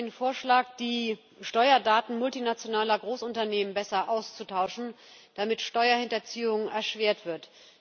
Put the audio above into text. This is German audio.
Wir reden über den Vorschlag, die Steuerdaten multinationaler Großunternehmen besser auszutauschen, damit Steuerhinterziehung erschwert wird.